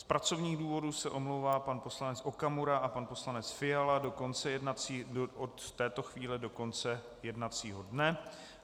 Z pracovních důvodů se omlouvají pan poslanec Okamura a pan poslanec Fiala od této chvíle do konce jednacího dne.